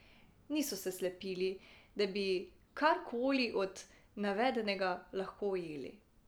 Niso se slepili, da bi karkoli od navedenega lahko ujeli.